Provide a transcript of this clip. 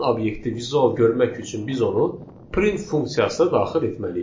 Həmin obyekti vizual görmək üçün biz onu print funksiyasına daxil etməliyik.